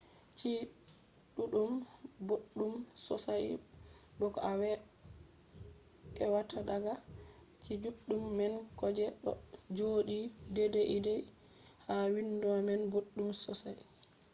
chi’e ɗuɗɗum boɗɗum sosai bo ko a ewata daga chi’e juɗɗum man ko je ɗo joɗi deidei ha windo man boɗɗum sosai